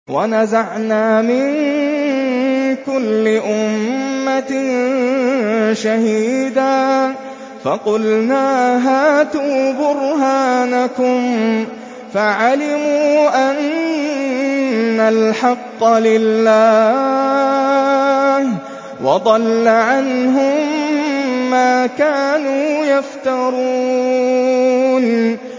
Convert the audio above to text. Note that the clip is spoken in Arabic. وَنَزَعْنَا مِن كُلِّ أُمَّةٍ شَهِيدًا فَقُلْنَا هَاتُوا بُرْهَانَكُمْ فَعَلِمُوا أَنَّ الْحَقَّ لِلَّهِ وَضَلَّ عَنْهُم مَّا كَانُوا يَفْتَرُونَ